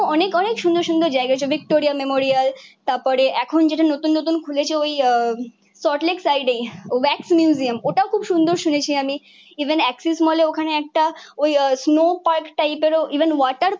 অনেক অনেক সুন্দর সুন্দর জায়গা আছে ভিক্টোরিয়া মেমোরিয়াল। তারপরে এখন যেটা নতুন নতুন খুলেছে ওই আহ সল্টলেক সাইডে ও ভ্যাক্স মিউজিয়াম ওটাও খুব সুন্দর শুনেছি আমি। ইভেন এক্সিস মলে ওখানে একটা ওই আহ স্নো পার্ক টাইপেরও ইভেন ওয়াটার